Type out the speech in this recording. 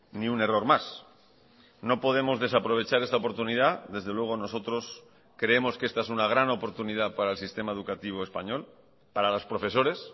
ni un error más no podemos desaprovechar esta oportunidad desde luego nosotros creemos que esta es una gran oportunidad para el sistema educativo español para los profesores